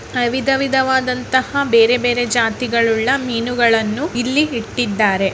ವಿಧ ವಿಧವಾದಂತಹ ಬೇರೆ ಬೇರೆ ಜಾತಿಗಳುಳ್ಳ ಮೀನುಗಳನ್ನು ಇಲ್ಲಿ ಇಟ್ಟಿದ್ದಾರೆ.